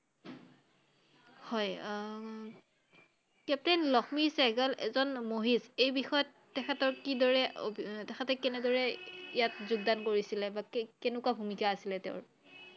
হয় আহ captain লক্ষ্মী চেহ্গাল এজন মহিষ I এই বিষয়ত তেখেতৰ কি দৰে উম তেখেতক কিদৰে ইয়াত যোগদান কৰিছিলে বাকী কেনেকুৱা ভূমিকা আছিলে তেওঁৰ?